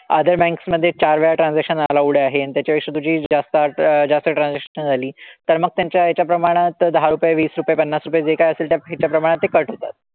Other banks मधे चार वेळा transaction allowed आहे आणि त्याच्यापेक्षा तुझी जास्त आता जास्त transaction झाली तर मग त्यांच्या ह्याच्या प्रमाणात दहा रुपये, वीस रुपये, पन्नास रुपये जे काही असेल त्या ह्याच्या प्रमाणात ते cut होतात.